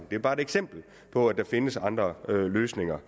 det er bare et eksempel på at der findes andre løsninger